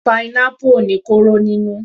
Pineapple ò ní kóró nínú.